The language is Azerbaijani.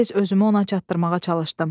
Mən tez özümü ona çatdırmağa çalışdım.